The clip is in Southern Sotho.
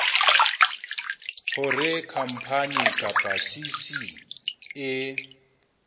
hore khampani kapa cc e